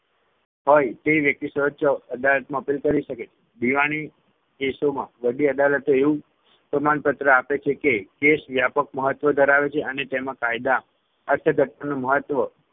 હોય તેવી વ્યક્તિ સર્વોચ્ય અદાલતમાં appeal કરી શકે છે. દીવાની કેસોમાં વડી અદાલતો એવું પ્રમાણપત્ર આપે છે કે case વ્યાપક મહત્વ ધરાવે છે અને તેમાં કાયદા અર્થઘટનનો મહત્વ